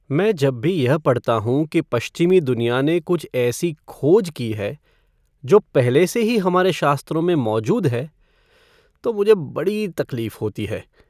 मैं जब भी यह पढ़ता हूँ कि पश्चिमी दुनिया ने कुछ ऐसी "खोज" की है जो पहले से ही हमारे शास्त्रों में मौजूद है, तो मुझे बड़ी तकलीफ़ होती है।